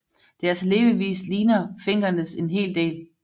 Deres levevis ligner finkernes en hel del